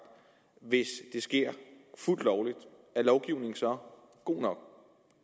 hvis det sker fuldt lovligt er lovgivningen så god nok